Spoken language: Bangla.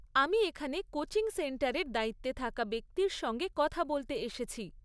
আমি এখানে কোচিং সেন্টারের দায়িত্বে থাকা ব্যক্তির সঙ্গে কথা বলতে এসেছি।